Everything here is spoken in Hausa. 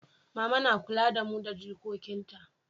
mama na kula da mu da jikokin ta